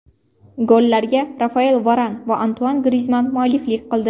Gollarga Rafael Varan va Antuan Grizmann mualliflik qildi.